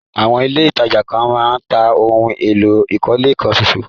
Àwọn ilẹ̀ ìtajà kan máa ń tà ohun èlò ìkọ́lé kan ṣóṣó.